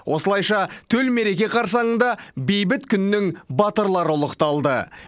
осылайша төл мереке қарсаңында бейбіт күннің батырлары ұлықталды